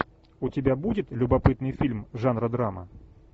у тебя будет любопытный фильм жанра драма